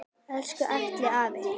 Elsku Atli afi.